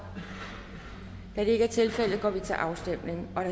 da det ikke er tilfældet går vi til afstemning